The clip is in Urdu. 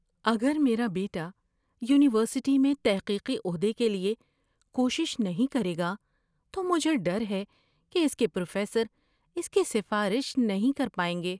اگر میرا بیٹا یونیورسٹی میں تحقیقی عہدے کے لیے کوشش نہیں کرے گا تو مجھے ڈر ہے کہ اس کے پروفیسر اس کی سفارش نہیں کر پائیں گے۔